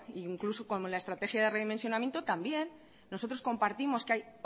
incluso la estrategia de redimensionamiento también nosotros compartimos que hay